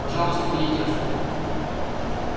пожалуйста выйдите отсюда